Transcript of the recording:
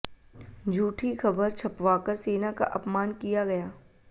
झूठी खबर छपवाकर सेना का अपमान किया गया